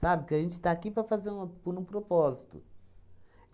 que a gente está aqui para fazer uma por um propósito.